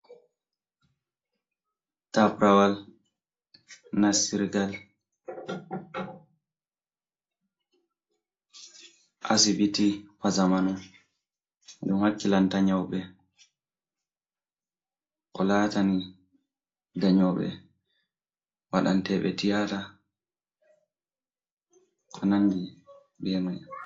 Taprawal nasirgal asbitiwa zamanu ɗum hakkilanta nyauɓe, ko laatani danyooɓe waɗanteɓe tiyata, ko nandi be mai.